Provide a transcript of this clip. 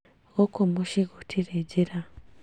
Gũkũ mũciĩ gũtirĩ njĩra